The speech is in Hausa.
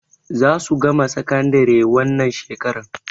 Za su gama sakandari wannan shekarar.